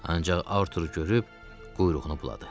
Ancaq Arturu görüb quyruğunu buladı.